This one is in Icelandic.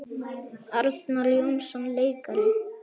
Arnar Jónsson leikari